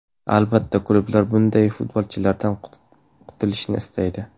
Albatta, klublar bunday futbolchilardan qutilishni istaydi.